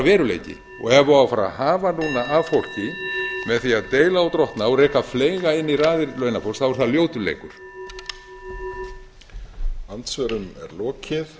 veruleiki ef það á að fara að hafa núna af fólki með því að deila og drottna og reka fleyga inn í raðir launafólks er það ljótur leikur